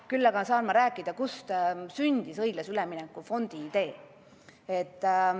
Küll aga saan ma rääkida, kust sündis õiglase ülemineku fondi idee.